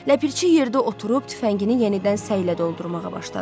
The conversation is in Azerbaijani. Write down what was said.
Ləpirçi yerdə oturub tüfəngini yenidən səylə doldurmağa başladı.